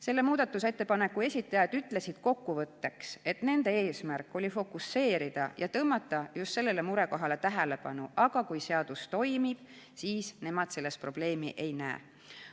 Selle muudatusettepaneku esitajad ütlesid kokkuvõtteks, et nende eesmärk oli tõmmata just sellele murekohale tähelepanu, aga kui seadus toimib, siis nemad selles probleemi ei näe.